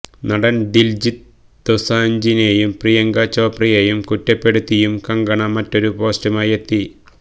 നടൻ ദിൽജിത്ത് ദൊസാഞ്ജിനെയും പ്രിയങ്ക ചോപ്രയെയും കുറ്റപ്പെടുത്തിയും കങ്കണ മറ്റൊരു പോസ്റ്റുമായെത്തി